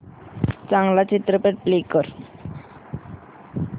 चांगला चित्रपट प्ले कर